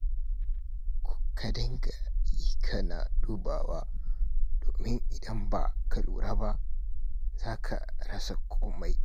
Ka dinga yi kana dubawa, domin in ba ka lura ba, za ka rasa komai.